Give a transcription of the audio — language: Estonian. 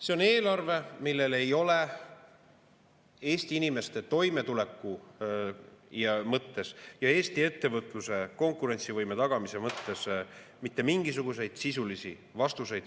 See on eelarve, milles ei ole Eesti inimeste toimetuleku mõttes ja Eesti ettevõtluse konkurentsivõime tagamise mõttes mitte mingisuguseid sisulisi vastuseid.